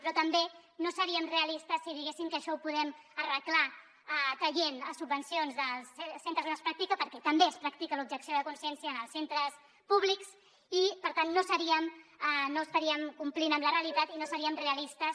però tampoc no seríem realistes si diguéssim que això ho podem arreglar traient subvencions dels centres on es practica perquè també es practica l’objecció de cons·ciència en els centres públics i per tant no estaríem complint amb la realitat i no seríem realistes